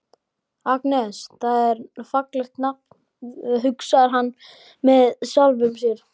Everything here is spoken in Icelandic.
Agnes, það er fallegt nafn, hugsar hann með sjálfum sér.